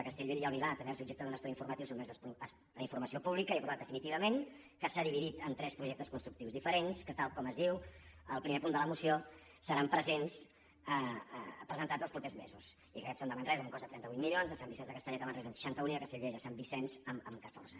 a castellbell i el vilar que també va ser objecte d’un estudi informatiu sotmès a informa·ció pública i aprovat definitivament que s’ha dividit en tres projectes constructius diferents que tal com es diu al primer punt de la moció seran presentats els propers mesos i que aquests són de manresa amb un cost de trenta vuit milions de sant vicenç de castellet a manresa amb seixanta un i de castellbell a sant vicenç amb catorze